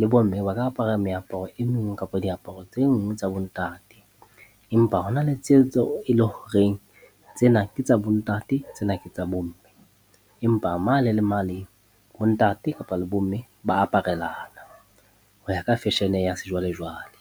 le bomme ba ka apara meaparo e meng kapa diaparo tse nngwe tsa bo ntate. Empa ho na le tseo tse e le horeng, tsena ke tsa bo ntate, tsena ke tsa bomme. Empa mane le mane, bo ntate kapa le bomme ba aparela, ho ya ka fashion-e ya sejwa-lejwale.